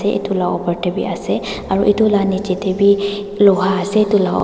etu laga opor te bhi ase aru etu laga niche te bhi Loha ase.